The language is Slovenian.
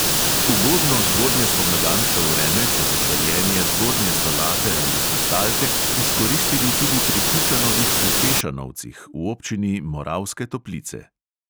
Ugodno zgodnjespomladansko vreme so za sajenje zgodnje solate ali kristalke izkoristili tudi pri kučanovih v tešanovcih v občini moravske toplice.